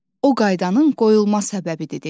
O qaydanın qoyulma səbəbidir dedi.